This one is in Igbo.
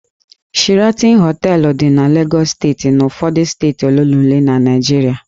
Sheraton Hóteélụ̀ dị na Lagos steeti na ụfọdụ steeti ole na ole ndị ọzọ na Naịjirịa